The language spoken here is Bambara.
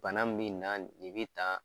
Bana min bi na nin nin bi tan